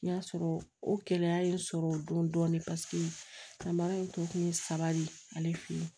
N y'a sɔrɔ o gɛlɛya ye n sɔrɔ o don dɔɔnin paseke samara in tɔ kun ye saba de ye ale fɛ yen